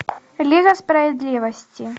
лига справедливости